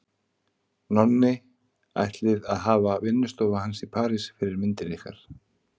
Nonni ætlið að hafa vinnustofu hans í París fyrir myndir ykkar.